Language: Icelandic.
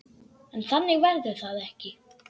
En þannig verður það ekki.